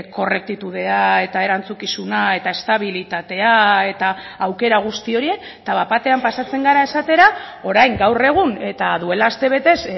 korrektitudea eta erantzukizuna eta estabilitatea eta aukera guzti horiek eta bat batean pasatzen gara esatera orain gaur egun eta duela astebetez